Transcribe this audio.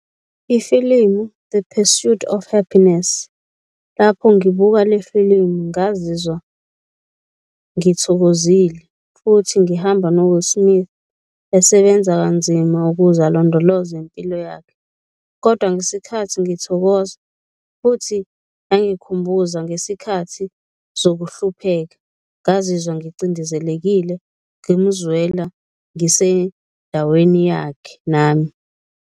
Ifilimu, The Pursuit of Happiness, lapho ngibuka le filimu ngazizwa ngithokozile futhi ngihamba no-Will Smith esebenza kanzima ukuze alondoloze impilo yakhe kodwa ngesikhathi ngithokoza futhi yangikhumbuza ngesikhathi zokuhlupheka. Ngazizwa ngicindezelekile, ngimuzwela, ngisendaweni yakhe nami.